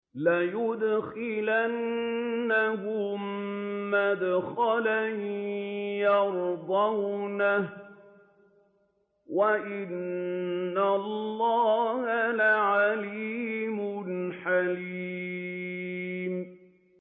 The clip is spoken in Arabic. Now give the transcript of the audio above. لَيُدْخِلَنَّهُم مُّدْخَلًا يَرْضَوْنَهُ ۗ وَإِنَّ اللَّهَ لَعَلِيمٌ حَلِيمٌ